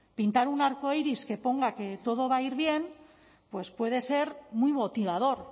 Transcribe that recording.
pintar un arcoíris que ponga que todo va a ir bien pues puede ser muy motivador